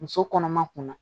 Muso kɔnɔma kunna